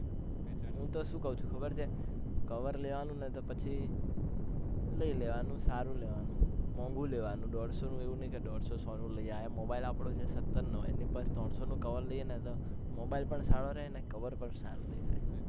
હું તો શું કઉ છુ ખબર છે cover લેવાનું ને તો પછી લઇ લેવાનું સારું લેવાનું મોંઘુ લેવાનું ઢોધસો એવું નહી કે ઢોધસો સો નું લઇ આયા mobile આપણો છે સત્તર નો અણી પાસે થી ત્રણ સો નું cover લઈએ ને mobile પણ સારો રે અને cover પણ સારો દેખાય